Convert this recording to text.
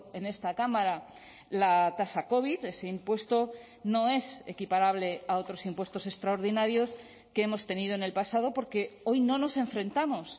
en esta cámara la tasa covid ese impuesto no es equiparable a otros impuestos extraordinarios que hemos tenido en el pasado porque hoy no nos enfrentamos